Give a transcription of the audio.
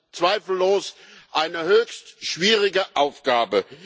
Das ist zweifellos eine höchst schwierige Aufgabe.